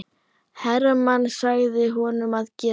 Hermann sagði honum að geta.